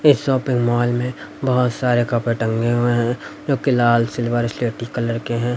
इस shopping mall में बहोत सारे कपड़े टंगे हुए हैं जो कि लाल सिल्वर स्लेटी कलर के हैं।